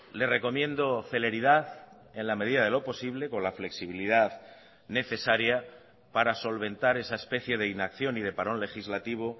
le recomiendo celeridad en la medida de lo posible con la flexibilidad necesaria para solventar esa especie de inacción y de parón legislativo